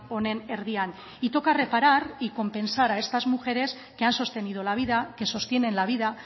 honen erdian y toca reparar y compensar a estas mujeres que han sostenido la vida que sostienen la vida